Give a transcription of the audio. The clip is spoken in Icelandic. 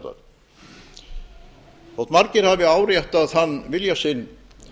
og meðferðar þótt margir hafi áréttað þann vilja sinn